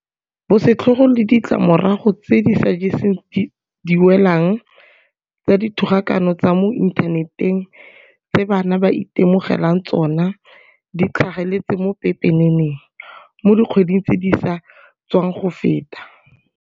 Bosetlhogo le ditlamorago tse di sa jeseng diwelang tsa dithogakano tsa mo inthaneteng tse bana ba itemogelang tsona di tlhageletse mo pepeneneng mo dikgweding tse di sa tswang go feta.